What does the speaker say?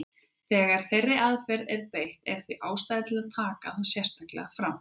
Þegar þeirri aðferð er beitt er því ástæða til að taka það sérstaklega fram.